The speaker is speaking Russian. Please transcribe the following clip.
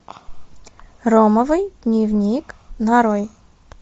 ромовый дневник нарой